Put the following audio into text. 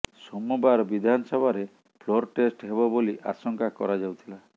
ସୋମବାର ବିଧାନସଭାରେ floor test ହେବ ବୋଲି ଆଶଙ୍କା କରାଯାଉଥିଲା